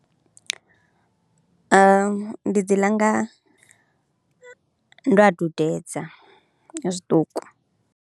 Ndi dzi ḽa nga, ndo a dudedza nga zwiṱuku.